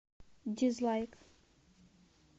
дизлайк